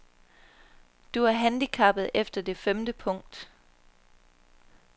Du er handicappet efter det femte punkt.